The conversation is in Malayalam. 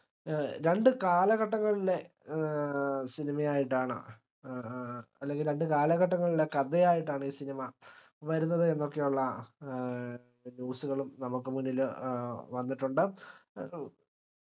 ഏഹ് രണ്ട് കാലഘട്ടങ്ങളിലെ ഏഹ് cinema ആയിട്ടാണ് ഏർ അല്ലെങ്കിൽ രണ്ടുകാലഘട്ടങ്ങളിലെ കഥയായിട്ടാണ് ഈ cinema വരുന്നത് എന്നൊക്കെയുള്ള ഏഹ് news കളും നമുക്ക് മുന്നിൽ ഏഹ് വന്നിട്ടുണ്ട്